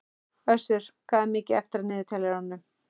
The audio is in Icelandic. Össur, hvað er mikið eftir af niðurteljaranum?